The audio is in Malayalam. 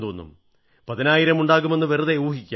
പതിനായിരം ഉണ്ടാകുമെന്ന് വെറുതെ ഊഹിക്കാം